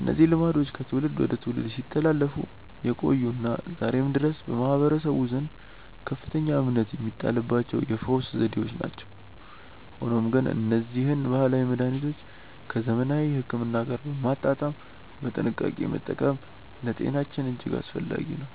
እነዚህ ልማዶች ከትውልድ ወደ ትውልድ ሲተላለፉ የቆዩና ዛሬም ድረስ በማህበረሰቡ ዘንድ ከፍተኛ እምነት የሚጣልባቸው የፈውስ ዘዴዎች ናቸው። ሆኖም ግን እነዚህን ባህላዊ መድኃኒቶች ከዘመናዊ ሕክምና ጋር በማጣጣም በጥንቃቄ መጠቀም ለጤናችን እጅግ አስፈላጊ ነው።